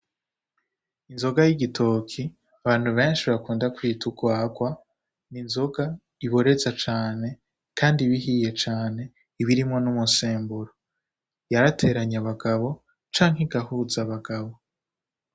Inzoga y'igitoki abantu benshi bakunda kwita urwarwa, ni inzoga iboreza cane kandi iba ihiye cane iba irimwo n'umusemburo , yarateranye abagabo canke igahuza abagabo.